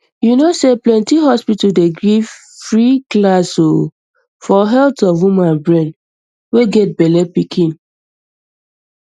you no say plenty hospital dey give free class o for health of woman brain way get bellepikin